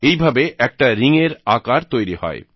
এইভাবে একটা রিংএর আকার তৈরি হয়